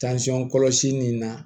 kɔlɔsi nin na